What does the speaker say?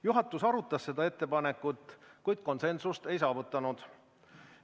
Juhatus arutas seda ettepanekut, kuid konsensust ei saavutanud.